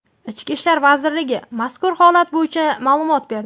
Ichki ishlar vazirligi mazkur holat bo‘yicha ma’lumot berdi .